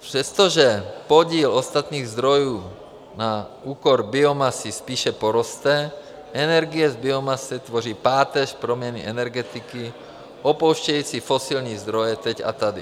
Přestože podíl ostatních zdrojů na úkor biomasy spíše poroste, energie z biomasy tvoří páteř proměny energetiky opouštějící fosilní zdroje teď a tady.